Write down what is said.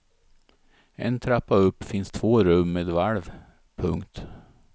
En trappa upp finns två rum med valv. punkt